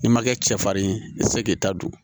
N'i ma kɛ cɛfarin ye i tɛ se k'i ta don